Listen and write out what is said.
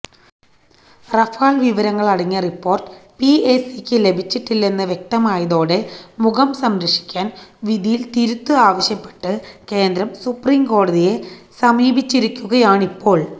Rafale വിവരങ്ങളടങ്ങിയ report പിഎസിക്ക് ലഭിച്ചിട്ടില്ലെന്ന് വ്യക്തമായതോടെ മുഖം രക്ഷിക്കാന് വിധിയില് തിരുത്ത് ആവശ്യപ്പെട്ട് കേന്ദ്രം സുപ്രീം കോടതിയെ സമീപിച്ചിരിക്കുകയാണിപ്പോള്